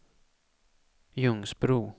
Ljungsbro